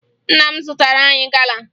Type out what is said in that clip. Nna m zụtara anyị gala